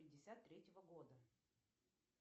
пятьдесят третьего года